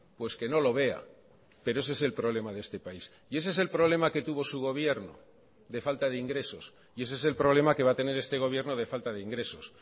pues que no lo vea pero ese es el problema de este país y ese es el problema que tuvo su gobierno de falta de ingresos y ese es el problema que va a tener este gobierno de falta de ingresos